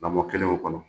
Lamɔ kelenw kɔnɔ